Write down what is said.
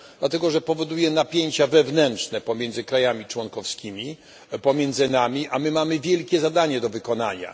Dlatego, że powoduje napięcia wewnętrzne pomiędzy krajami członkowskimi, pomiędzy nami, a my mamy wielkie zadanie do wykonania.